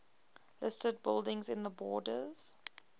listed buildings in the borders